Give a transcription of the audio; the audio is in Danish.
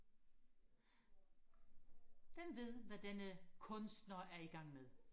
hvem ved hvad denne kunstner er igang med